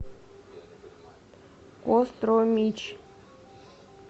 костромич